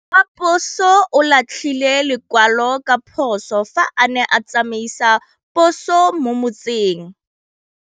Raposo o latlhie lekwalô ka phosô fa a ne a tsamaisa poso mo motseng.